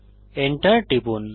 Enter টিপুন